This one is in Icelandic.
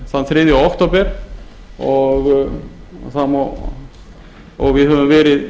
þann þriðja október og við höfum verið